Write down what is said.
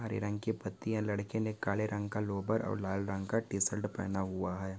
हरे रंग के पत्तियां लड़के ने काले रंग का लोअर और लाल रंग का टी-शर्ट पहना हुआ है।